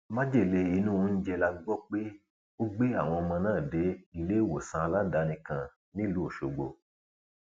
májèlé inú oúnjẹ la gbọ pé ó gbé àwọn ọmọ náà dé iléewòsàn aládàáni kan nílùú ọṣọgbó